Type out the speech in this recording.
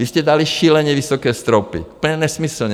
Vy jste dali šíleně vysoké stropy, úplně nesmyslně.